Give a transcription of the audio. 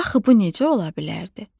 Axı bu necə ola bilərdi?